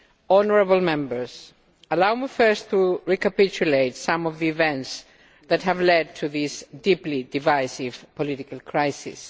Honourable Members, allow me first to recapitulate some of the events that have led to this deeply divisive political crisis.